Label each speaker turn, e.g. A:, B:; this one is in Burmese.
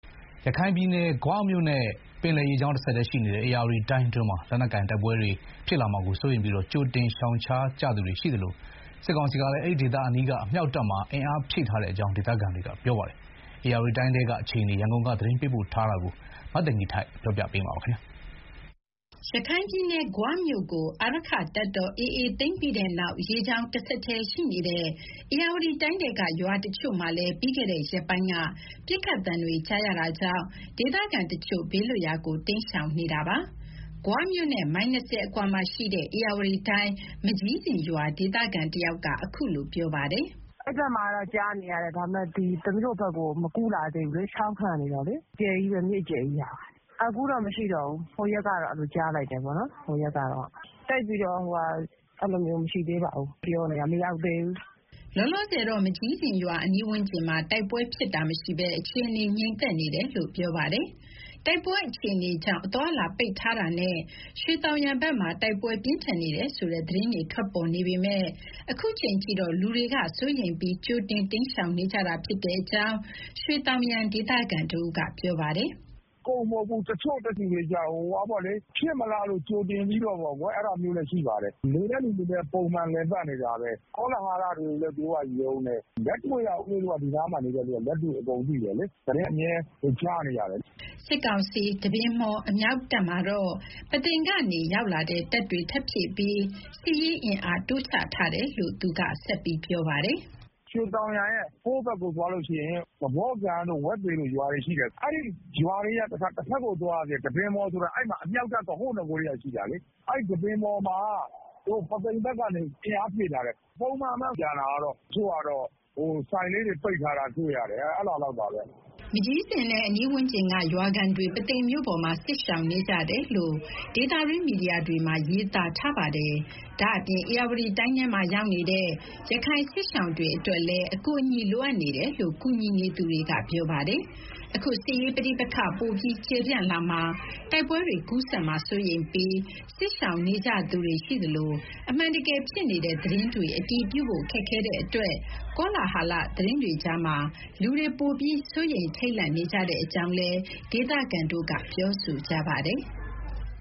A: ရခိုင်ပြည်နယ်၊ ဂွမြို့နဲ့ ပင်လယ်ရေကြောင်း တဆက်တည်းရှိနေတဲ့ ဧရာဝတီတိုင်းအတွင်းမှာ လက်နက်ကိုင် တိုက်ပွဲတွေ ဖြစ်လာမှာကို စိုးရိမ်ပြီး ကြိုတင်ရှောင်ရှားကြသူတွေရှိသလို၊ စစ်ကောင်စီကလည်း အမြှောက်တပ်မှာ အင်အားဖြည့်ထားတဲ့အကြောင်း ဒေသခံတွေက ပြောပါတယ်။ ဧရာဝတီတိုင်းထဲက အခြေအနေ ရန်ကုန်ကနေ သတင်းပေးပို့ထားတာကိုပြောပြမှာပါ။ ရ
B: ခိုင်ပြည်နယ်၊ ဂွမြို့ကို အာရက္ခတပ်တော် AA သိမ်းပြီးတဲ့နောက် ရေကြောင်းတဆက်တည်းရှိနေတဲ့ ဧရာဝတီတိုင်းထဲက ရွာတချို့မှာလည်း ပြီးခဲ့တဲ့ရက်ပိုင်းက ပစ်ခတ်သံတွေ ကြားရတာကြောင့် ဒေသခံတချို့ ဘေးလွတ်ရာကို တိမ်းရှောင်နေတာပါ။ ဂွမြို့နဲ့ မိုင် ၂၀ အကွာမှာရှိတဲ့ ဧရာဝတီတိုင်း၊ မကျီးဇင်ရွာ ဒေသခံတယောက်က အခုလို ပြောပြပါ
C: တယ်။ "အဲဒီဘက်မှာတော့ ကြားနေရတယ်။ ဒါပေမဲ့ ရွှေသောင်ယံဘက်ကို မကူးလာသေးဘူးလေ။ ချောင်းခံနေတာလေ၊ မြစ်အကျယ်ကြီးပဲဟာ။ မကျီးဇင်ရွာဘက်မှာ ပစ်ခတ်သံတွေ အခုတော့မရှိတော့ဘူး။ ဟိုရက်တုန်းကတော့ ကြားလိုက်ရတယ်။ အဖွဲ့တွေလည်း မရှိသေးပါဘူး။ ပြောနေကြတာပဲ၊ မရောက်သေးဘူး။" လောလော
B: ဆယ်တော့ မကျီးဇင်ရွာအနီးဝန်းကျင်မှာ တိုက်ပွဲဖြစ်ပွားတာ မရှိဘဲ အခြေအနေ ငြိမ်သက်နေတယ်လို့ ပြောပါတယ်။ တိုက်ပွဲအခြေအနေကြောင့် အသွားအလာပိတ်ထားတာနဲ့ ရွှေသောင်ယံဘက်မှာ တိုက်ပွဲပြင်းထန်နေတယ်ဆိုတဲ့ သတင်းတွေထွက်ပေါ်နေပေမယ့် အခုချိန်ထိတော့ လူတွေက စိုးရိမ်ပြီး ကြိုတင်တိမ်းရှောင်နေကြတာ ဖြစ်တဲ့အကြောင်း ရွှေသောင်ယံ ဒေသခံတဦးက
C: ပြောပါတယ်။ "အကုန်မဟုတ်ဘူး။ တချို့တွေကျတော့ ဖြစ်မလားလို့ ကြိုတင်ပြီးတော့ ရှောင်ကြတာမျိုးလည်း ရှိပါတယ်။ နေတဲ့သူတွေလည်း ပုံမှန်လည်ပတ်နေတာပဲ။ ကောလာဟလတွေကိုလည်း သူတို့ကယုံတယ်။ လက်တွေ့က ဦးလေးတို့က ဒီနားမှာနေတဲ့သူတွေက လက်တွေ့အကုန်သိတယ်လေ။ သတင်းအမြဲ ကြားနေရတယ်လေ။
B: " စစ်ကောင်စီ တပင်မှော် အမြောက်တပ်မှာတော့ ပုသိမ်ကနေရောက်လာတဲ့ တပ်တွေ ထပ်ဖြည့်ပြီး စစ်ရေးအင်အား တိုးချထားတယ်လို့ သူက ဆက်ပြောပါ
C: တယ်။ "ရွှေသောင်ယံရဲ့ ဟိုးဘက်ကိုသွားရင် သဖော့ကန်တို့၊ ဝက်သေတို့ ရွာတွေရှိတယ်။ အဲဒီရွာတွေရဲ့ တဖက်ကိုသွားရသေးတယ်၊ တပင်မှော်ဆိုတာ။ အဲဒီမှာ အမြောက်တပ်ဆိုတာ ဟိုးနဂိုကတည်းက ရှိတာလေ။ အဲဒီ တပင်မှော်မှာ ပုသိမ်ဘက်ကနေ အင်အားဖြည့်ထားတယ်။ ကျန်တာကတော့ ပုံမှန်ပဲ။ တချို့ကတော့ ဆိုင်လေးတွေပိတ်ထားတာ တွေ့ရတယ်။"
B: မကျီးဇင်နဲ့ အနီးဝန်းကျင်က ရွာခံတွေ ပုသိမ်မြို့ပေါ်မှာ စစ်ရှောင်နေကြတယ်လို့ ဒေသတွင်းမီဒီယာတွေမှာ ရေးသားထားပါတယ်။ ဒါ့အပြင် ဧရာဝတီတိုင်းထဲမှာ ရောက်နေတဲ့ ရခိုင်စစ်ရှောင်တွေအတွက်လည်း အကူအညီလိုအပ်နေတယ်လို့ ကူညီနေသူတွေက ပြောပါတယ်။ အခုစစ်ရေးပဋိပက္ခ ပိုပြီးကျယ်ပြန့်လာမှာ တိုက်ပွဲတွေ ကူးစက်မှာ စိုးရိမ်ပြီး စစ်ရှောင်နေကြသူတွေ ရှိသလို၊ အမှန်တကယ်ဖြစ်နေတဲ့ သတင်းတွေ အတည်ပြုဖို့ ခက်ခဲ့တဲ့အတွက် ကောလဟာလ သတင်းတွေကြားမှာ လူတွေပိုပြီး စိုးရိမ်ထိတ်လန့်နေတဲ့အကြောင်း ဒေသခံတွေ ပြောဆိုကြပါတယ်။